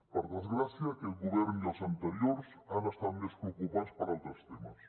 per desgràcia aquest govern i els anteriors han estat més preocupats per altres temes